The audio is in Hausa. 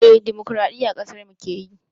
Eh dimukuraɗiyya ƙasarmu keyi